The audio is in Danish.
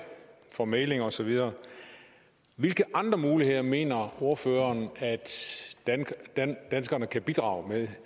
for mægling og så videre hvilke andre muligheder mener ordføreren at danskerne kan bidrage med